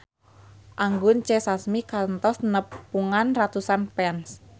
Anggun C. Sasmi kantos nepungan ratusan fans